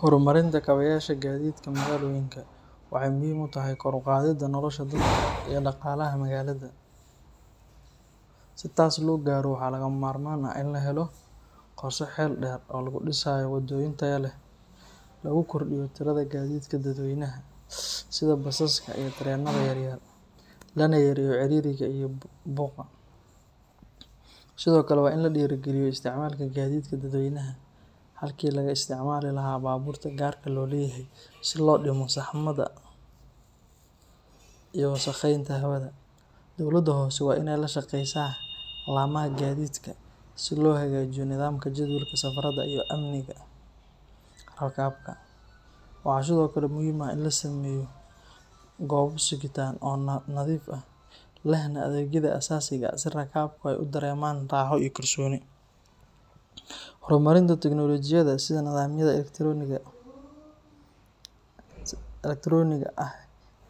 Horumarinta kabayasha gaadiidka magaalooyinka waxay muhiim u tahay kor u qaadidda nolosha dadka iyo dhaqaalaha magaalada. Si taas loo gaaro, waxaa lagama maarmaan ah in la helo qorshe xeel dheer oo lagu dhisayo wadooyin tayo leh, lagu kordhiyo tirada gaadiidka dadweynaha sida basaska iyo tareenada yaryar, lana yareeyo ciriiriga iyo buuqa. Sidoo kale, waa in la dhiirrigeliyo isticmaalka gaadiidka dadweynaha halkii laga isticmaali lahaa baabuurta gaarka loo leeyahay si loo dhimo saxmadda iyo wasakheynta hawada. Dowladda hoose waa inay la shaqeysaa laamaha gaadiidka si loo hagaajiyo nidaamka jadwalka safarada iyo amniga rakaabka. Waxaa sidoo kale muhiim ah in la sameeyo goobo sugitaan oo nadiif ah, lehna adeegyada aasaasiga ah si rakaabku ay u dareemaan raaxo iyo kalsooni. Horumarinta tiknoolajiyadda sida nidaamyada elektaroonigga ah